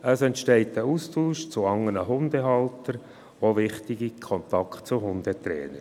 Es entstehen ein Austausch mit anderen Hundehaltern und auch wichtige Kontakte zu Hundetrainern.